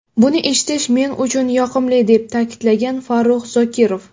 Buni eshitish men uchun yoqimli”, deb ta’kidlagan Farruh Zokirov.